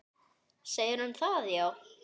Segir hún það, já?